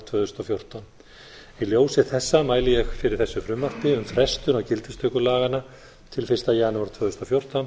tvö þúsund og fjórtán í ljósi þessa mæli ég fyrir þessu frumvarpi um frestun á gildistöku laganna til fyrsta janúar tvö þúsund og fjórtán